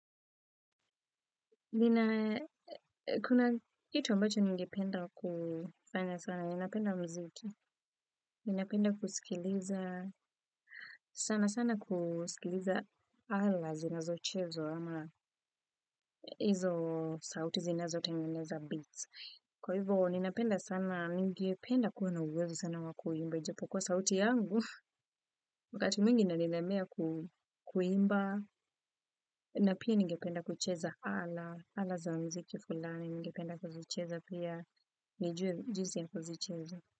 Nina. Kuna kitu ambacho ningependa kufanya sana. Ninapenda muziki, ninapenda kusikiliza sana sana kusikiliza ala zinazochezwa, ama hizo sauti zinazotengeneza beats. Kwa hivyo, ninapenda sana, ningependa kuwa na uwezo sana wa kuimba, ijapo kuwa sauti yangu, wakati mwingi inanilemea ku kuimba, na pia ningependa kucheza hala, hala za muziki fulani, ningependa kuzicheza pia, nijue jinsi ya kuzicheza.